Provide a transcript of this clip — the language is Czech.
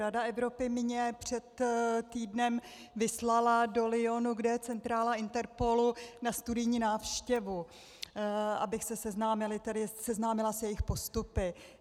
Rada Evropy mě před týdnem vyslala do Lyonu, kde je centrála Interpolu, na studijní návštěvu, abych se seznámila s jejich postupy.